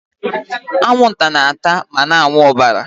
Anwụnta na-ata ma na-aṅụ ọbara.